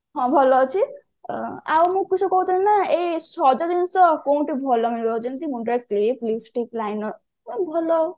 ହଁ ଭଲ ଅଛି ଆଉ ମୁଁ କିସ କହୁଥିଲି ନା ଏଇ ସଜ ଜିନିଷ କୋଉଠି ଭଲ ମିଳିବ ଯେମିତି ମୁଣ୍ଡରେ clip lipstick liner ମାନେ ଭଲ